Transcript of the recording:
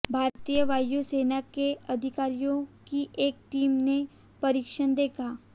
भारतीय वायु सेना के अधिकारियों की एक टीम ने परीक्षण देखा